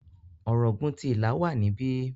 Ọ̀ràngún ti Ìlá wà níbí.